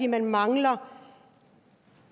man mangler